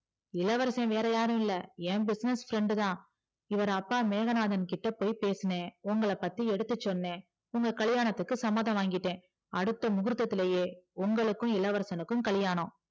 இளவரச வேறயாரும் இல்ல என் business friend டுதா இவர் அப்பா மேகனாதகிட்ட போய் பேசுன உங்கள பத்தி எடுத்து சொன்னே உங்க கல்லியாணத்துக்கு சம்மதம் வாங்கிட்ட அடுத்த முகூர்தத்துளையே உனக்கு இளவரசனுக்கு கல்லியாணம்